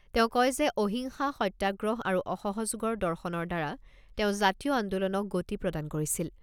তেওঁ কয় যে, অহিংসা, সত্যাগ্ৰহ আৰু অসহযোগৰ দৰ্শনৰ দ্বাৰা তেওঁ জাতীয় আন্দোলনক গতি প্ৰদান কৰিছিল।